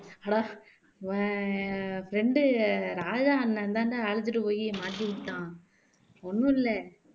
உன் friend ராஜா அண்ணன் தான்டா அழுதுட்டு போயி மாட்டிவிட்டான் ஒண்ணும் இல்ல